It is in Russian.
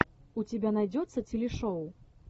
у тебя найдется телешоу